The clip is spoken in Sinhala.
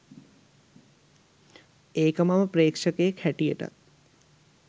ඒක මම ප්‍රේක්ෂකයෙක් හැටියටත්.